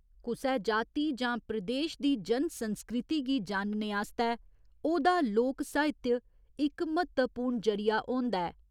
कुसै जाति जां प्रदेश दी जन संस्कृति गी जानने आस्तै ओह्दा लोक साहित्य इक म्हत्तवपूर्ण जरिया होंदा ऐ।